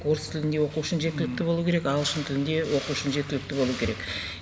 орыс тілінде оқу үшін жеткілікті болу керек ағылшын тілінде оқу үшін жеткілікті болу керек